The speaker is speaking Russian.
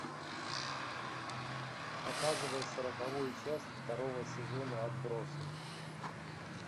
показывай сороковую часть второго сезона отбросы